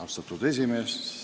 Austatud esimees!